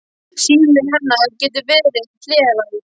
Síminn hennar gæti ver ið hleraður.